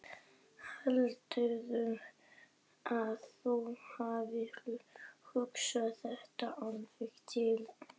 Heldurðu að þú hafir hugsað þetta alveg til enda?